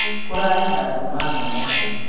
Kũrarĩ na nduma nene.